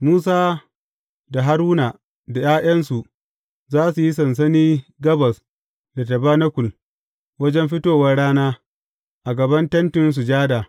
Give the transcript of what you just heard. Musa da Haruna da ’ya’yansu za su yi sansani gabas da tabanakul, wajen fitowar rana; a gaban Tentin Sujada.